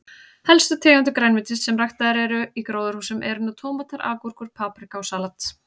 Helstu tegundir grænmetis sem ræktaðar eru í gróðurhúsum eru nú tómatar, agúrkur, paprika og salat.